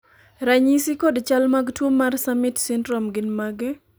ranyisi kod chal mag tuo mar Summitt syndrome gin mage?